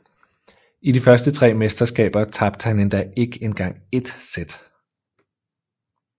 I de første tre mesterskaber tabte han endda ikke engang ét sæt